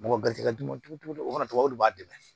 Mɔgɔ garizigɛ d'u ma cogo o cogo o kana to o de b'a dɛmɛ